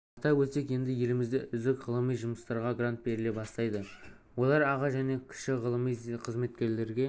атап өтсек енді елімізде үздік ғылыми жұмыстарға грант беріле бастайды олар аға және кіші ғылыми қызметкерлерге